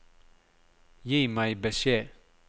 Gi meg beskjed